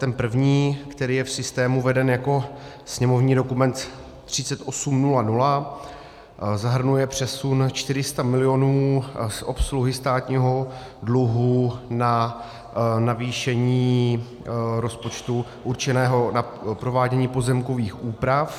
Ten první, který je v systému veden jako sněmovní dokument 3800, zahrnuje přesun 400 milionů z obsluhy státního dluhu na navýšení rozpočtu určeného na provádění pozemkových úprav.